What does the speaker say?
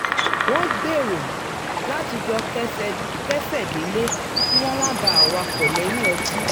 wọ́n gbèrò láti jọ ké̩sè̩ délé kí wọ́n má bàa wakọ̀ lè̩yìn o̩tí